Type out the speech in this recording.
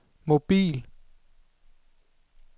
mobil